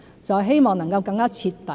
就是希望能夠更徹底。